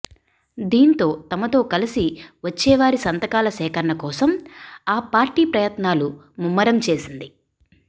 దీంతో తమతో కలిసి వచ్చేవారి సంతకాల సేకరణ కోసం ఆ పార్టీ ప్రయత్నాలు ముమ్మరం చేసింది